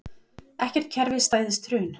Ekkert kerfi stæðist hrun